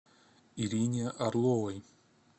ирине орловой